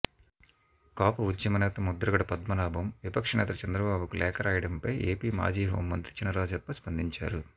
కాపు ఉద్యమనేత ముద్రగడ పద్మనాభం విపక్షనేత చంద్రబాబుకు లేఖ రాయడంపై ఏపీ మాజీ హోంమంత్రి చినరాజప్ప స్పందించారు